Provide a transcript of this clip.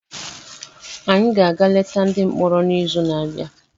Anyị ga-aga leta ndị mkpọrọ n’izu n'abịa.